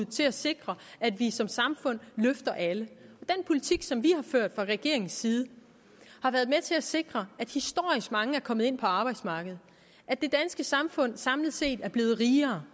til at sikre at vi som samfund løfter alle den politik som vi har ført fra regeringens side har været med til at sikre at historisk mange er kommet ind på arbejdsmarkedet at det danske samfund samlet set er blevet rigere